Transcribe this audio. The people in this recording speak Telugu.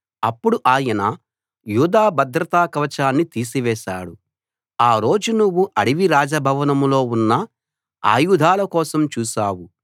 అప్పుడు ఆయన యూదా భద్రత కవచాన్ని తీసివేశాడు ఆ రోజు నువ్వు అడవి రాజ భవనం లో ఉన్న ఆయుధాల కోసం చూశావు